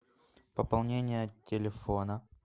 пополнение телефона